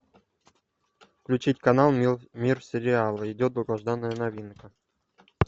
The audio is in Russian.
включить канал мир сериала идет долгожданная новинка